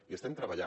i estem treballant